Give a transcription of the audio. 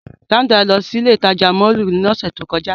Sandra lọ si ile itaja mọllu ni ọsẹ to kọja.